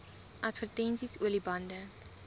advertensies olie bande